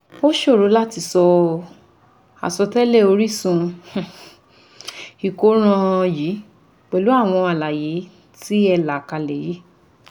Ó ṣòro láti sọ àsọtẹ́lẹ̀ orísun um ìkóràn yìí pẹ̀lú alàyé tí ẹ là kalẹ̀ yìí